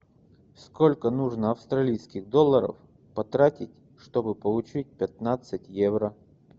сколько нужно австралийских долларов потратить чтобы получить пятнадцать евро